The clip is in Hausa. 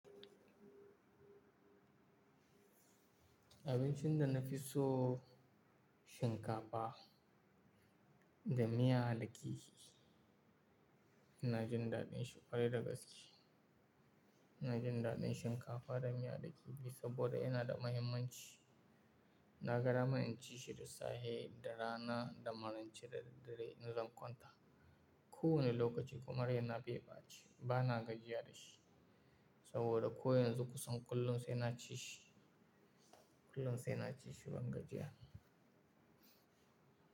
Abincin da na fi so shinkafa da miya da kihi. Ina jin daɗin shi ƙwarai da gaske. Ina jin daɗin shinkafa da miya da kifi saboda yana da mahimmanci. Na ga dama in ci shi da safe, da rana, da maraice da daddare ina zan kwanta. Ko wane lokaci kuma raina bai ɓaci. Bana gajiya da shi saboda ko yanzu kusan kullum sai na ci shi. Kullum sai na ci shi ban gajiya.